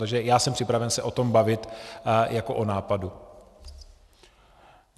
Takže já jsem připraven se o tom bavit jako o nápadu.